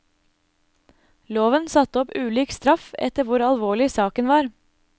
Loven satte opp ulik straff etter hvor alvorlig saken var.